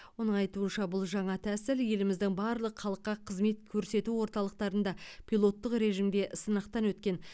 оның айтуынша бұл жаңа тәсіл еліміздің барлық халыққа қызмет көрсету орталықтарында пилоттық режімде сынақтан өткен